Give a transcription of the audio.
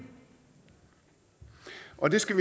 og det skal